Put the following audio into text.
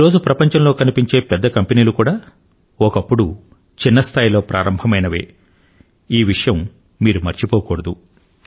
ఈ రోజు ప్రపంచంలో కనిపించే పెద్ద కంపెనీలు కూడా ఒకప్పుడు చిన్న స్థాయిలో ప్రారంభమైనవే అనే విషయం మీరు మరచిపోకూడదు